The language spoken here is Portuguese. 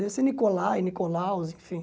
Deve ser Nicolai, Nicolaus, enfim.